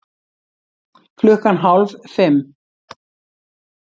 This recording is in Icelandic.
Klukkan hálf fimm